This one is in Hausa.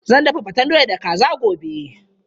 Zan dafa faten doya da kaza gobe.